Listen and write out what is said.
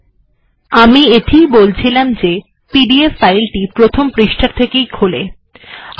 এখানে এটি উল্লেখ করা প্রয়োজন যে পিডিএফ ফাইলটি প্রথম পৃষ্ঠা থেকেই খোলে